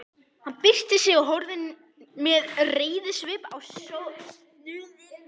Hann byrsti sig og horfði með reiðisvip á söfnuðinn.